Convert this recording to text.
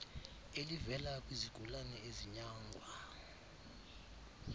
elivela kwizigulane ezinyangwa